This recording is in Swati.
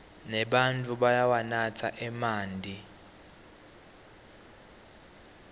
nebatfu bayawanatsa emanti